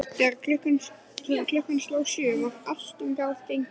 Þegar klukkan sló sjö var allt um garð gengið.